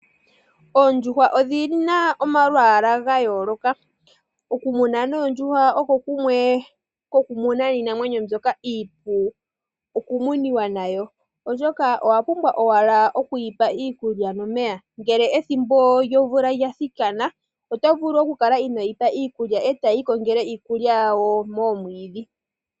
Oondjuhwa odhi na omalwaala ga yooloka. Okumuna noondjuhwa oko kumwe kokumuna iinamwenyo mbyoka iipu okumuniwa nayo oshoka owa pumbwa owala okuyipa iikulya nomeya ngele ethimbo lyomvula lya thikana oto vulu okukala ino yi pa iikulya e tadhi ikongele iikulya yawo momwiidhi.